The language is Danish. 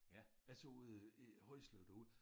Altså ude i Højslev derude